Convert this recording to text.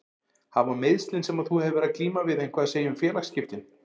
Hafa meiðslin sem að þú hefur verið að glíma við eitthvað að segja um félagsskiptin?